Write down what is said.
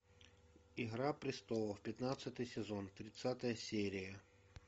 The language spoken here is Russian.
игра престолов пятнадцатый сезон тридцатая серия